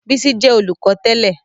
Bísí jẹ́ olùkọ́ tẹ́lẹ̀